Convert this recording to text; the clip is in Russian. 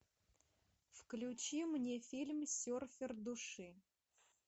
включи мне фильм серфер души